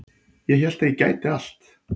Ég hélt að ég gæti allt